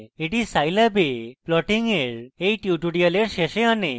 এটি scilab এ plotting এর এই tutorial শেষে আনে